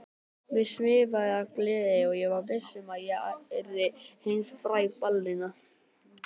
Mig svimaði af gleði og ég var viss um að ég yrði heimsfræg ballerína.